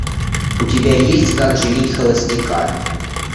у тебя есть как женить холостяка